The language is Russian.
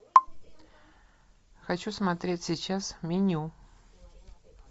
хочу смотреть сейчас меню